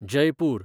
Jaipur